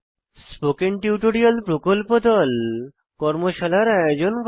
spoken tutorial প্রকল্প দল কর্মশালার আয়োজন করে